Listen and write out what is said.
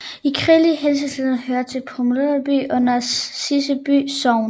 I kirkelig henseende hører Pommerby under Siseby Sogn